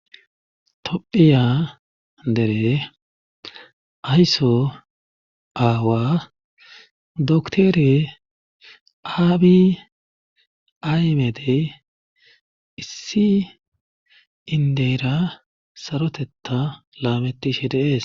tophiya dere aysso aawa doktore aabi aymedey issi indeyra sarotetta laametishe deees